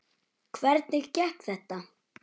Hvernig gekk þetta?